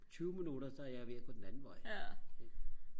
tyve minutter der er jeg ved og gå den anden vej ikke